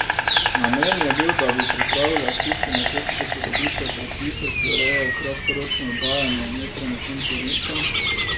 Namen je bil, da bi pripravila akcijski načrt posodobitve predpisov, ki urejajo kratkoročno oddajanje nepremičnin turistom.